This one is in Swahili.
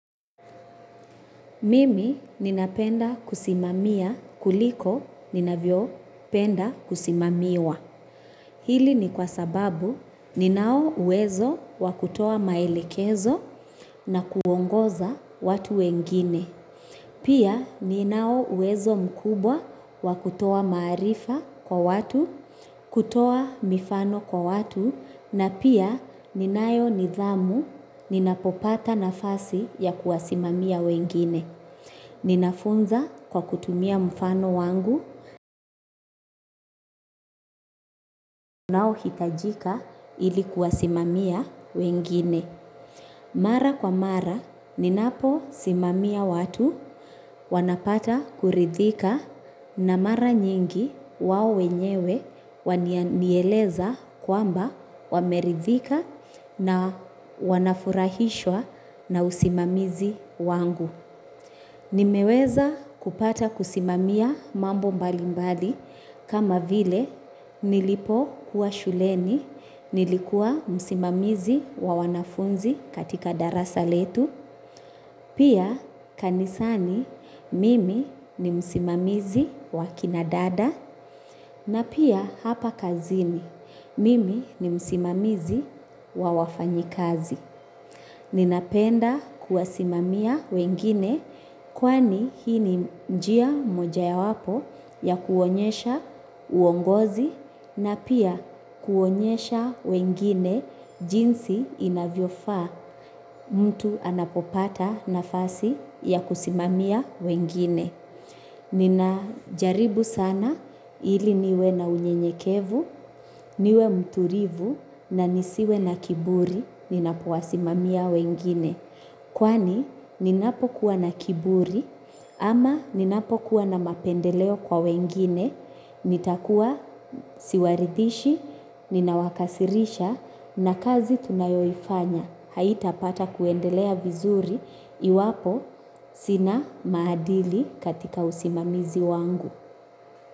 Mimi ninapenda kusimamia kuliko ninavyopenda kusimamiwa. Hili ni kwa sababu ninaouwezo wakutoa maelekezo na kuongoza watu wengine. Pia ninauwezo mkubwa wakutoa maarifa kwa watu, kutoa mifano kwa watu, na pia ninayo nidhamu ninapopata nafasi ya kuwasimamia wengine. Ninafunza kwa kutumia mfano wangu nao hitajika ili kuwasimamia wengine. Mara kwa mara ninapo simamia watu wanapata kuridhika na mara nyingi wao wenyewe wanieleza kwamba wameridhika na wanafurahishwa na usimamizi wangu. Nimeweza kupata kusimamia mambo mbali mbali kama vile nilipokuwa shuleni, nilikua msimamizi wa wanafunzi katika darasa letu, pia kanisani mimi ni msimamizi wa kina dada, na pia hapa kazini mimi ni msimamizi wa wafanyikazi. Ninapenda kuwasimamia wengine kwani hii ni njia mojawapo ya kuonyesha uongozi na pia kuonyesha wengine jinsi inavyofa mtu anapopata nafasi ya kusimamia wengine. Ninajaribu sana ili niwe na unyenyekevu, niwe mtulivu na nisiwe na kiburi ninapowasimamia wengine. Kwani ninapokuwa na kiburi ama ninapokuwa na mapendeleo kwa wengine, nitakuwa siwaridhishi, ninawakasirisha na kazi tunayoifanya. Haitapata kuendelea vizuri iwapo sina maadili katika usimamizi wangu.